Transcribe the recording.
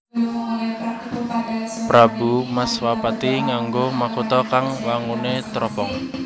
Prabu Matswapati nganggo makutha kang wanguné tropong